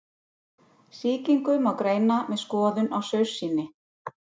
Sýkingu má greina með skoðun á saursýni.